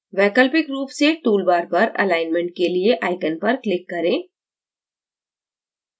वैकल्पिक रूप से toolbar पर alignment के लिए icon पर click करें